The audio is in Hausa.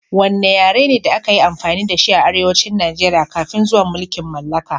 Wanne yare ne da aka yi amfani da shi a arewacin Najeriya kafin zuwan mulkin mallaka?